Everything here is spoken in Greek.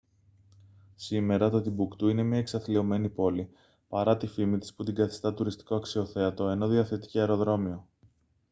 σήμερα το τιμπουκτού είναι μια εξαθλιωμένη πόλη παρά τη φήμη της που την καθιστά τουριστικό αξιοθέατο ενώ διαθέτει και αεροδρόμιο